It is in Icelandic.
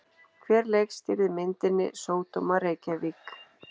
Hver leikstýrði myndinni Sódóma Reykjavík?